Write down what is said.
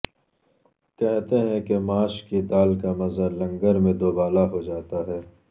کہتے ہیں کہ ماش کی دال کا مزہ لنگر میں دوبالا ہو جاتا ہے